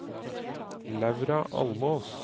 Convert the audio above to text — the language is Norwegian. Laura Almås